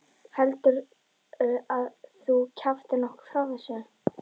Heldurðu að þú kjaftir nokkuð frá þessu.